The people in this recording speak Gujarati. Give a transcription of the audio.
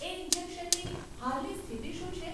એ ઇન્જેશનની હાલની સ્થિતિ શું છે?